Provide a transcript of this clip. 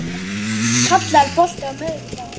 Kalla, er bolti á miðvikudaginn?